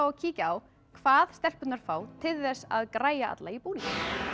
að kíkja á hvað stelpurnar fá til þess að græja alla í búning